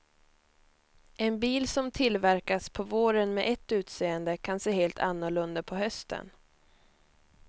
En bil som tillverkas på våren med ett utseende, kan se helt annorlunda på hösten.